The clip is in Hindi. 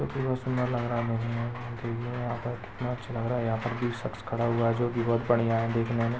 जोकी बहोत सुन्दर लगरा है यह पर देखिये कितना अच्छा लगरा है यहा पर की शकस खड़ा हुआ है जोकी बहूत बढ़िया है। देखने मे--